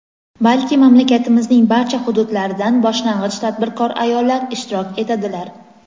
balki mamlakatimizning barcha hududlaridan boshlang‘ich tadbirkor ayollar ishtirok etadilar.